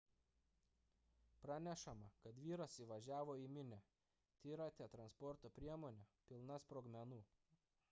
pranešama kad vyras įvažiavo į minią trirate transporto priemone pilna sprogmenų